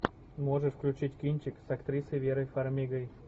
можешь включить кинчик с актрисой верой фармигой